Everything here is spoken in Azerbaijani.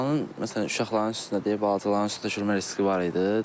Binanın, məsələn, uşaqların üstündə deyir, balacaların üstündə çökmə riski var idi.